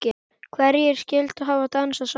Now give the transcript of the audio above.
Hverjir skyldu hafa dansað saman?